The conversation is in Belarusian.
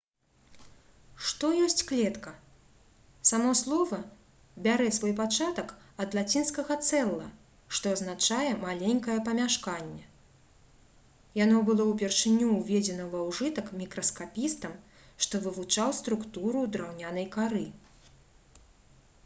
што ёсць клетка? само слова бярэ свой пачатак ад лацінскага «cella» што азначае «маленькае памяшканне». яно было ўпершыню ўведзена ва ўжытак мікраскапістам што вывучаў структуру драўнянай кары